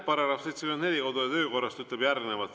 Paragrahv 74 kodu- ja töökorras ütleb järgmist.